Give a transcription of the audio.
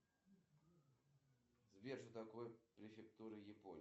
афина увлекается ли чем нибудь александр базаров